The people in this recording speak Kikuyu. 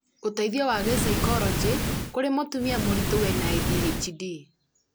ũteithio wa gĩcaikoronjĩ kũri mũtumia mũritũ wĩna ADHD